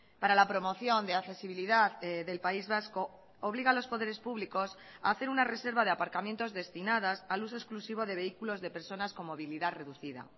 para la promoción de accesibilidad del país vasco obliga a los poderes públicos a hacer una reserva de aparcamientos destinadas al uso exclusivo de vehículos de personas con movilidad reducida